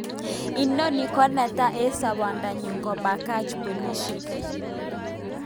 Ononi ko neta en sabondanyu kopakany polishek